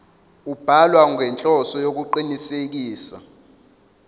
ubhalwa ngenhloso yokuqinisekisa